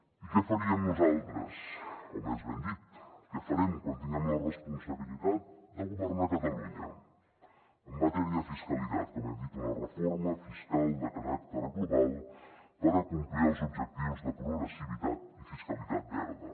i què faríem nosaltres o més ben dit què farem quan tinguem la responsabilitat de governar catalunya en matèria de fiscalitat com hem dit una reforma fiscal de caràcter global per acomplir els objectius de progressivitat i fiscalitat verda